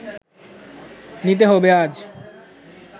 নিতে হবে আজ